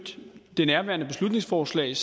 det nærværende beslutningsforslag er